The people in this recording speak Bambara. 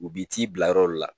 U b'i t'i bila yɔrɔ dɔ la.